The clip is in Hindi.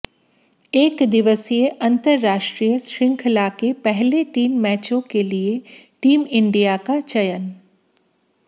एकदिवसीय अंतरराष्ट्रीय श्रृंखला के पहले तीन मैचों के लिए टीम इंडिया का चयन